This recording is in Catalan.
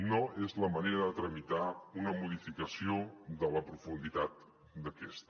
no és la manera de tramitar una modificació de la profunditat d’aquesta